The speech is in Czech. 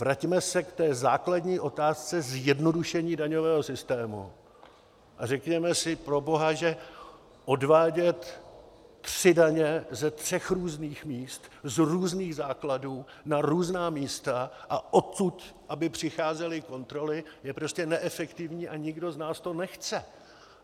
Vraťme se k té základní otázce zjednodušení daňového systému a řekněme si proboha, že odvádět tři daně ze tří různých míst, z různých základů, na různá místa, a odtud aby přicházely kontroly, je prostě neefektivní a nikdo z nás to nechce.